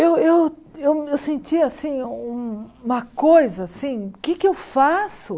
Eu eu eu sentia assim um uma coisa assim, o que é que eu faço?